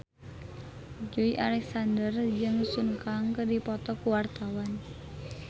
Joey Alexander jeung Sun Kang keur dipoto ku wartawan